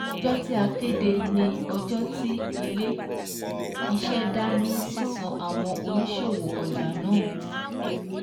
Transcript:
Ọjọ́ tí a kéde ni ọjọ́ tí Ilé-iṣẹ́ dá ní sísan àwọn òníṣòwò ọjà náà